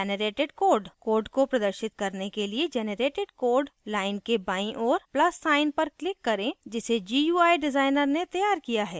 code को प्रदर्शित करने के लिए generated code line के बाईं ओर plus sign + पर click करें जिसे gui designer ने तैयार किया है